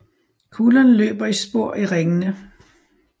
Kuglerne løber i spor i ringene